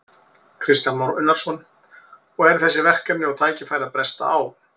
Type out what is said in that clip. Kristján Már Unnarsson: Og eru þessi verkefni og tækifæri að bresta á?